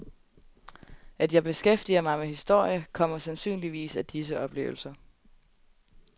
At jeg beskæftiger mig med historie, kommer sandsynligvis af disse oplevelser.